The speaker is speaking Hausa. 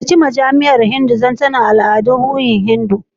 Ziyarci majami'u Hindu na gida don sanin ɗimbin al'adun al'adu da ruhi na addinin Hindu.